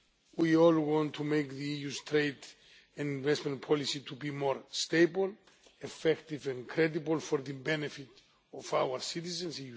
We all want to make the EU's trade and investment policy to be more stable, effective and credible for the benefit of our EU citizens.